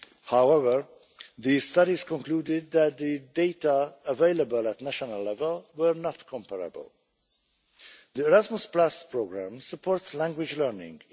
However, these studies concluded that the data available at national level were not comparable. The Erasmus programme supports language learning.